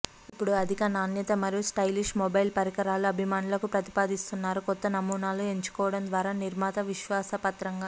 ఇప్పుడు అధిక నాణ్యత మరియు స్టైలిష్ మొబైల్ పరికరాలు అభిమానులకు ప్రతిపాదిస్తున్నారు కొత్త నమూనాలు ఎంచుకోవడం ద్వారా నిర్మాత విశ్వాసపాత్రంగా